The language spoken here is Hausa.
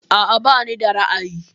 A'a bani da ra'ayi.